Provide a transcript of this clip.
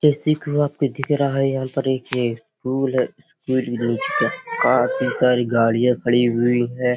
दिख रहा है। यहाँ पर ये एक रूल है। काफी सारी गाड़ियाँ खड़ी हुई हैं।